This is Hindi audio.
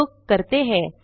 का उपयोग करते हैं